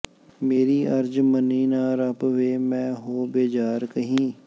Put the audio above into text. ਮੇਰੀ ਅਰਜ਼ ਮਨੀ ਨਾ ਰੱਬ ਵੇ ਮੈਂ ਹੋ ਬੇਜ਼ਾਰ ਕਹੀ